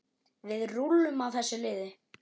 Við rúllum á þessu liði.